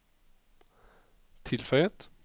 tilføyet